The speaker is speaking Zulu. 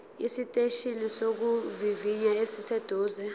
esiteshini sokuvivinya esiseduze